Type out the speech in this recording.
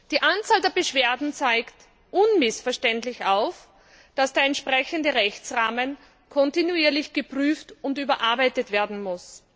Die Anzahl der Beschwerden zeigt unmissverständlich auf, dass der entsprechende Rechtsrahmen kontinuierlich geprüft und überarbeitet werden muss.